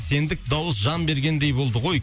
сендік дауыс жан бергендей болды ғой